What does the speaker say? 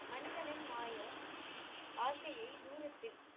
மனிதனின் மாய ஆசையை தூரத்தில்